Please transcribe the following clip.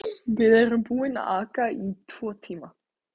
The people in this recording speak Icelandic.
Við erum búin að aka í tvo tíma.